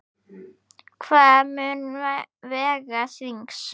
Hvað mun vega þyngst?